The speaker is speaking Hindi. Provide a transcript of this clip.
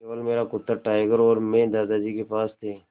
केवल मेरा कुत्ता टाइगर और मैं दादाजी के पास थे